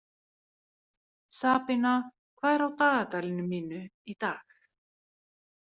Sabína, hvað er á dagatalinu mínu í dag?